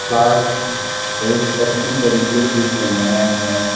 Park बहुत अच्छी तरीके से सजाया गया है।